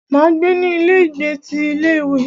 Máa gbé ní ilé ìgbé ti ilé ìwé.